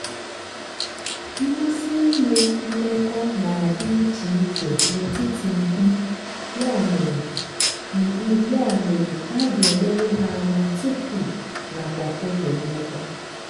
mmasị inwe mmekọahụ na-adị ichè ichè n'etiti mkpi ya mere mkpi ya mere a ga-eleru hà anya tupu nakwa oge mmekọ